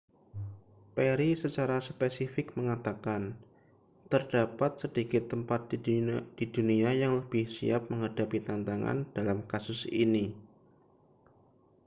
perry secara spesifik mengatakan terdapat sedikit tempat di dunia yang lebih siap menghadapi tantangan dalam kasus ini